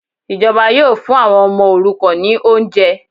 Ìjọba yóò fún àwọn ọmọ òrukàn ní oúnjẹ